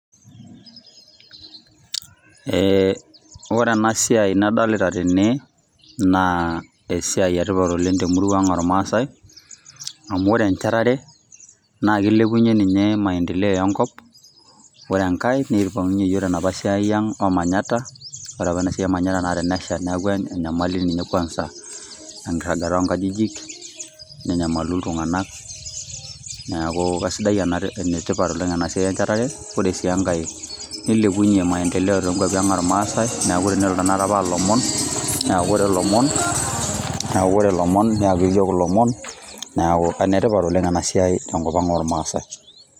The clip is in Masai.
Ee ore enasiai nadolita tene, naa esiai etipat oleng' temurua ang' ormaasai, amu ore enchatare, naa kilepunye ninye maendeleo enkop. Ore enkae, nipang'unye yiok tenapa siai ang' o manyatta, ore apa enasiai o manyatta na tenesha, neeku enyamali ninye kwanza ,enkirragata onkajijik, nenyamalu iltung'anak. Neeku kasidai ena, enetipat oleng' enasiai enchetare. Ore si enkae, nilepunye maendeleo tonkwapi ang' ormaasai, neeku tenelo tanakata pa ilomon, neeku ore lomon, neeku ore lomon neekini yiok ilomon, neeku enetipat oleng' enasiai tenkop ang' ormaasai.